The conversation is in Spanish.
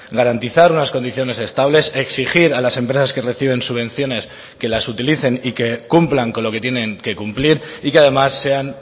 garantizar unas condiciones estables exigir a las empresas que reciben subvenciones que las utilicen y que cumplan con lo que tienen que cumplir y que además sean